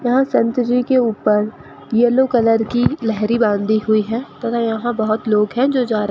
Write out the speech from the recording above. यहां संतरी के ऊपर येलो कलर की लेहरी बांधी हुई है तथा यहां बहुत लोग हैं जो जा रहे --